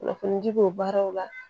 Kunnafoni di o baaraw la